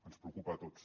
ens preocupa a tots